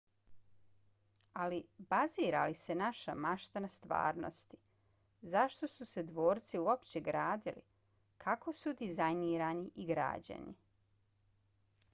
ali bazira li se naša mašta na stvarnosti? zašto su se dvorci uopće gradili? kako su dizajnirani i građeni?